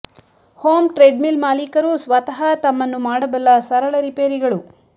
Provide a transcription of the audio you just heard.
home treadmill ಮಾಲೀಕರು ಸ್ವತಃ ತಮ್ಮನ್ನು ಮಾಡಬಲ್ಲ ಸರಳ ರಿಪೇರಿಗಳು